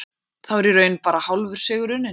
Þá er í raun bara hálfur sigur unninn.